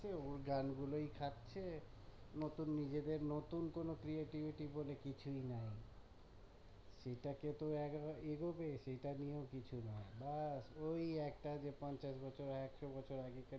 ওই গান গুলোই খাচ্ছে নতুন নিজেদের নতুন কোনো creativity বলে কিছুই নাই সেটাকে তো একবার এগোবে সেটা নিয়েও কিছু নাই ব্যাস ওই যে একটা পঞ্চাশ বছর একশো বছর আগেকার দিনে